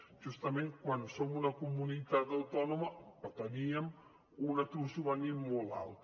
justament quan som una comunitat autònoma que teníem un atur juvenil molt alt